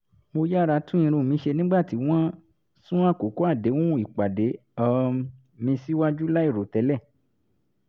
mo yára tún irun mi ṣe nígbà tí wọ́n sún àkókò àdéhùn ìpàdé um mi síwájú láì rò tẹ́lẹ̀